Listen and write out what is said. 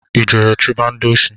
I jere chuba ndị oshi?